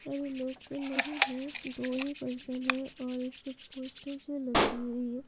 अरे लोग तो नहीं है दो ही पर्सन है और इसके पोस्टर जो लगी हुई है।